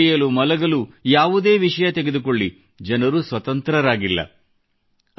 ಉಣ್ಣಲು ಕುಡಿಯಲು ಮಲಗಲು ಯಾವುದೇ ವಿಷಯ ತೆಗೆದುಕೊಳ್ಳಿ ಜನರು ಸ್ವತಂತ್ರರಾಗಿಲ್ಲ